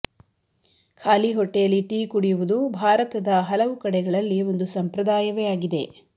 ಖಾಲಿ ಹೊಟ್ಟೆಯಲ್ಲಿ ಟೀ ಕುಡಿಯುವುದು ಭಾರತದ ಹಲವು ಕಡೆಗಳಲ್ಲಿ ಒಂದು ಸಂಪ್ರದಾಯವೇ ಆಗಿದೆ